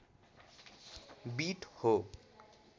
beet हो